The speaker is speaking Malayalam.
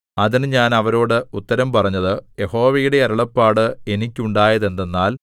അതിന് ഞാൻ അവരോട് ഉത്തരം പറഞ്ഞത് യഹോവയുടെ അരുളപ്പാട് എനിക്കുണ്ടായത് എന്തെന്നാൽ